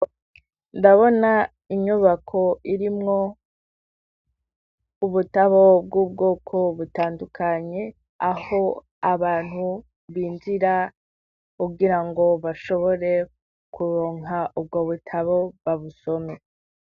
Ndabona inyubako irimwo ubutabo bw'ubwoko butandukanye, aho abantu binjira kugirango bashobore kuronka ubwo butabo, babusome.